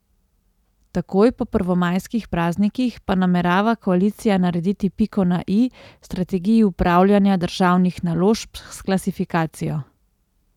Takoj po prvomajskih praznikih pa namerava koalicija narediti piko na i strategiji upravljanja državnih naložb s klasifikacijo.